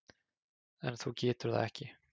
En þú getur það ekki.